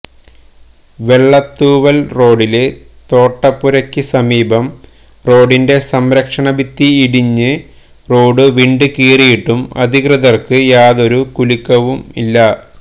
വെള്ളത്തൂവല് റോഡില് തോട്ടപുരയ്ക്ക് സമീപം റോഡിന്റെ സംരക്ഷണ ഭിത്തി ഇടിഞ്ഞ് റോഡ് വിണ്ടുകീറിയിട്ടും അധികൃതര്ക്ക് യാതൊരു കുലുക്കവുമില്ല